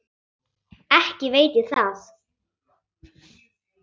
Ekki veit ég það.